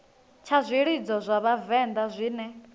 tsha zwilidzo zwa vhavenḓa zwine